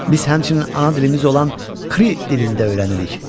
Biz həmçinin ana dilimiz olan kri dilini də öyrənirik.